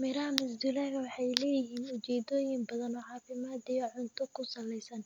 Miraha masdulaagga waxay leeyihiin ujeedooyin badan oo caafimaad iyo cunto ku saleysan.